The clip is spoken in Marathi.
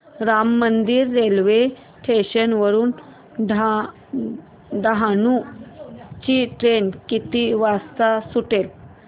राम मंदिर रेल्वे स्टेशन वरुन डहाणू ची ट्रेन किती वाजता सुटेल